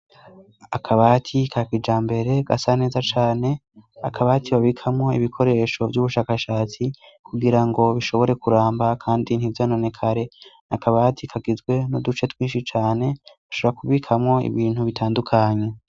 Akabati ka kijambere gasa neza cane; akabati babikamwo ibikoresho vy'ubushakashatsi kugira ngo bishobore kuramba kandi ntivyononekare. Ni akabati kagizwe n'uduce twinshi cane, ushobora kubikamwo ibintu bitandukanye.